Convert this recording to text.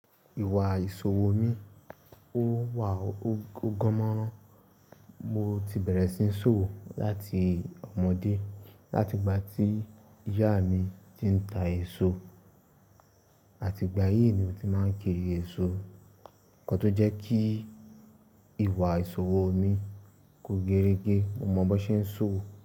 Ìwà ìṣòwò mi ó wà ó gan-mòran, mo ti bẹ̀rẹ̀ sí ní ṣòwò láti ọmọdé. Láti ìgbà tí ìyá mi ti ń ta èso, àti ìgbà yìí ni mo ti máa ń kiri èso. Ǹkan tó jẹ́ kí ìwà ìṣòwò mi kó gẹ́rẹ́gẹ́, mo mọ bó ṣe ń ṣòwò.